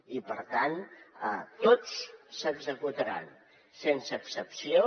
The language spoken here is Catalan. i per tant tots s’executaran sense excepció